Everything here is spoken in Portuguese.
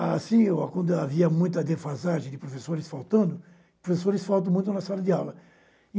Ah, sim, quando havia muita defasagem de professores faltando, professores faltam muito na sala de aula.